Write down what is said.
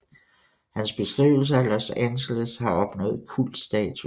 Hans beskrivelser af Los Angeles har opnået kultstatus